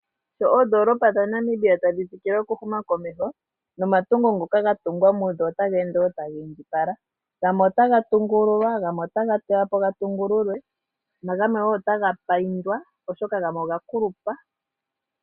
Sho oodolopa dhaNamibia tadhi tsikile oku huma komeho, nomatungo ngoka ga tungwa mudho otaga ende wo taga indjipala. Gamwe otaga tungululwa, gamwe otaga teywa po ga tungululwe, na gamwe wo otaga paindwa oshoka gamwe oga kulupa.